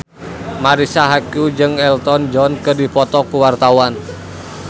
Marisa Haque jeung Elton John keur dipoto ku wartawan